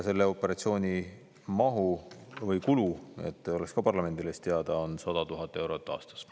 Selle operatsiooni kulu, et oleks ka parlamendile teada, on 100 000 eurot aastas.